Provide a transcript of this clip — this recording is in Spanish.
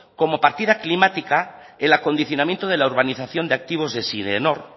como partida climática el acondicionamiento de la urbanización de activos de sidenor